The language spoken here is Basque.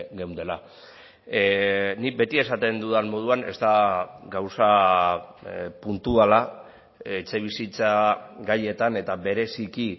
geundela nik beti esaten dudan moduan ez da gauza puntuala etxebizitza gaietan eta bereziki